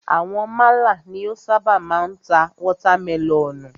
Àwọn málà ni o ṣábà máa ń ta watermẹlọ̀nùù.